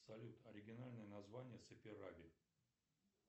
салют оригинальное название саперави